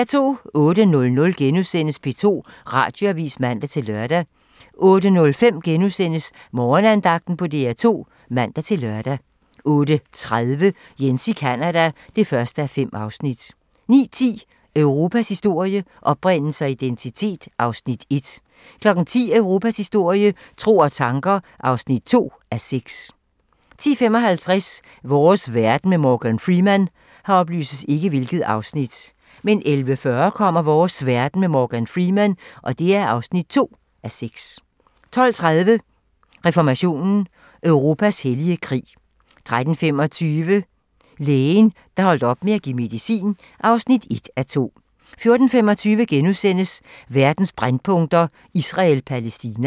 08:00: P2 Radioavis *(man-lør) 08:05: Morgenandagten på DR2 *(man-lør) 08:30: Jens i Canada (1:5) 09:10: Europas historie - oprindelse og identitet (1:6) 10:00: Europas historie - tro og tanker (2:6) 10:55: Vores verden med Morgan Freeman 11:40: Vores verden med Morgan Freeman (2:6) 12:30: Reformationen - Europas hellige krig 13:25: Lægen, der holdt op med at give medicin (1:2) 14:25: Verdens brændpunkter: Israel-Palæstina *